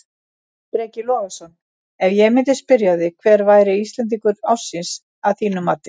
Breki Logason: Ef ég myndi spyrja þig hver væri Íslendingur ársins að þínu mati?